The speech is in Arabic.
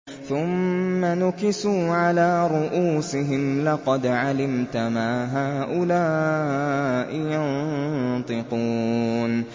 ثُمَّ نُكِسُوا عَلَىٰ رُءُوسِهِمْ لَقَدْ عَلِمْتَ مَا هَٰؤُلَاءِ يَنطِقُونَ